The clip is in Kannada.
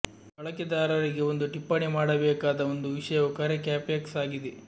ಬಳಕೆದಾರರಿಗೆ ಒಂದು ಟಿಪ್ಪಣಿ ಮಾಡಬೇಕಾದ ಒಂದು ವಿಷಯವು ಕರೆ ಕ್ಯಾಪೆಕ್ಸ್ ಆಗಿದೆ